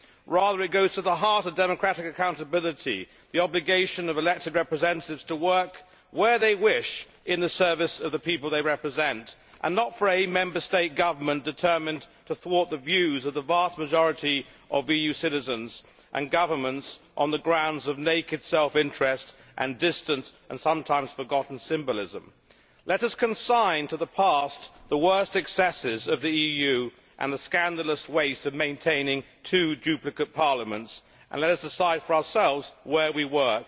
Rather, it goes to the heart of democratic accountability and the obligation for elected representatives to work where they wish, in the service of the people they represent, rather than having a Member State government determined to thwart the views of the vast majority of EU citizens and governments on the grounds of naked self interest and distant, sometimes forgotten, symbolism. Let us consign to the past the worst excesses of the EU and the scandalous waste of maintaining two duplicate parliaments. Let us decide for ourselves where we work.